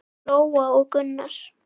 Lóa og Gunnar.